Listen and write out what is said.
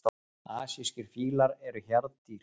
Asískir fílar eru hjarðdýr.